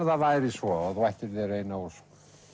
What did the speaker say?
það væri svo að þú ættir þér eina ósk